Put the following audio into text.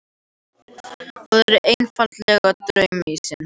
Það er einfaldlega draumsýn.